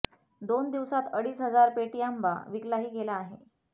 दोन दिवसात अडीच हजार पेटी आंबा विकलाही गेला आहे